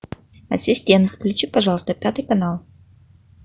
ассистент включи пожалуйста пятый канал